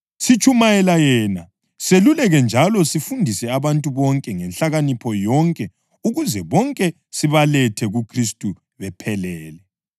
Sitshumayela yena, seluleke njalo sifundise abantu bonke ngenhlakanipho yonke ukuze bonke sibalethe kuKhristu bephelele.